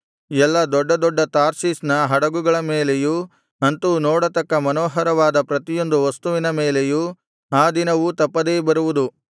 ಎಲ್ಲಾ ದೊಡ್ಡ ದೊಡ್ಡ ತಾರ್ಷೀಷ್ ನ ಹಡಗುಗಳ ಮೇಲೆಯೂ ಅಂತೂ ನೋಡತಕ್ಕ ಮನೋಹರವಾದ ಪ್ರತಿಯೊಂದು ವಸ್ತುವಿನ ಮೇಲೆಯೂ ಆ ದಿನವೂ ತಪ್ಪದೇ ಬರುವುದು